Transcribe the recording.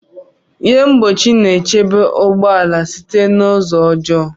Ihe mgbochi na-echebe ụgbọ ala site na ụzọ ọjọọ